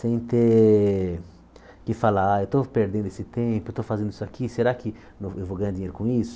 sem ter que falar, ah, eu estou perdendo esse tempo, eu estou fazendo isso aqui, será que eu eu vou ganhar dinheiro com isso?